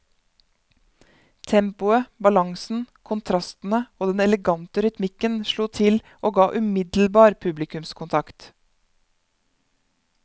Tempoet, balansen, kontrastene og den elegante rytmikken slo til og ga umiddelbar publikumskontakt.